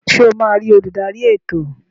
Ṣe o ma ri oludari ètò?